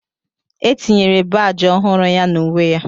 E tinyere baajị ọhụrụ ya na uwe ya